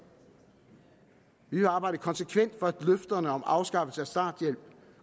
vi vil arbejde konsekvent for at løfterne om afskaffelse af starthjælp